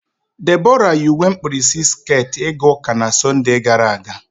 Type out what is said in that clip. Debora yi uwe mkpirisi sket ịga ụka na Sọnde gara aga.